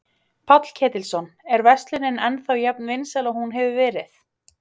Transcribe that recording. Páll Ketilsson: Er verslunin ennþá jafn vinsæl og hún hefur verið?